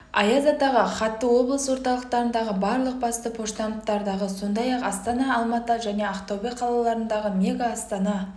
аяз атаға хатты облыс орталықтарындағы барлық басты поштамттардағы сондай-ақ астана алматы және ақтөбе қалаларындағы мега астана